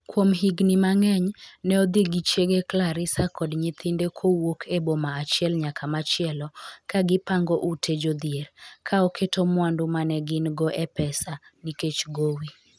Kuom higni mang’eny, ne odhi gi chiege Clarissa kod nyithinde kowuok e boma achiel nyaka machielo, ka gipango ute jodhier, ka oketo mwandu ma ne gin-go e pesa, nikech gowi.